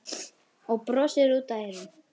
Og brosir út að eyrum.